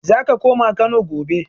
Zako koma Kano gobe